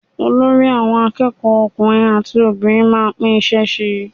Olórí àwọn akẹ́kọ̀ọ́ ọkùnrin àti obìnrin máa ń pín iṣẹ́ ṣe.